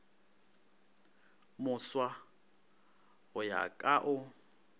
moswa go ya ka o